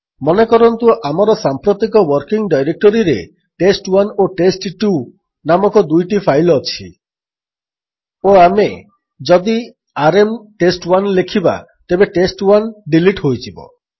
ମନେକରନ୍ତୁ ଆମର ସାମ୍ପ୍ରତିକ ୱର୍କିଙ୍ଗ୍ ଡାଇରେକ୍ଟୋରୀରେ ଟେଷ୍ଟ୍1 ଓ ଟେଷ୍ଟ୍2 ନାମକ ଦୁଇଟି ଫାଇଲ୍ ଅଛି ଓ ଆମେ ଯଦି ଆରଏମ୍ ଟେଷ୍ଟ୍1 ଲେଖିବା ତେବେ ଟେଷ୍ଟ୍1 ଡିଲିଟ୍ ହୋଇଯିବ